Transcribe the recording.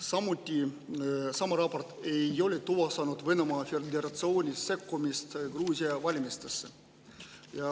Samuti ei ole selle raporti kohaselt tuvastatud Venemaa Föderatsiooni sekkumist Gruusia valimistesse.